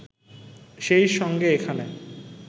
সেই সঙ্গে এখানে